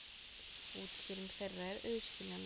Útskýring þeirra er auðskiljanleg.